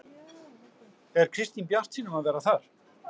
Er Kristín bjartsýn um að vera þar?